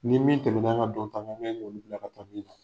Ni min tɛmɛn'an ŋa dɔnta ka ɲan'olu bila ka taa min na.